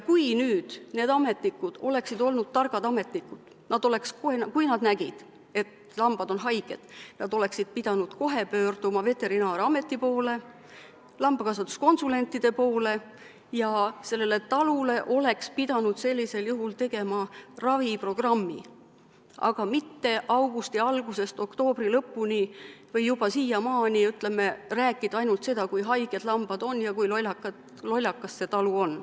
Kui need ametnikud oleksid olnud targad ametnikud, siis kui nad nägid, et lambad on haiged, nad oleksid pidanud kohe pöörduma veterinaarameti poole, lambakasvatuskonsulentide poole ja sellele talule oleks pidanud sellisel juhul tegema raviprogrammi, aga mitte augusti algusest oktoobri lõpuni või juba siiamaani rääkima ainult seda, kui haiged lambad on ja kui lollakas see talu on.